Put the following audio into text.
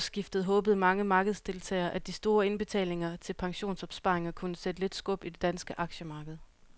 Ved årsskiftet håbede mange markedsdeltagere, at de store indbetalinger til pensionsopsparinger kunne sætte lidt skub i det danske aktiemarked.